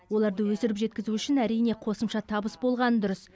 оларды өсіріп жеткізу үшін қосымша табыс болғаны дұрыс